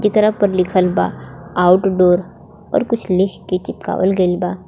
जेकरा पर लिखल बा आउटडोर और कुछ लिख के चिपकावल गइल बा.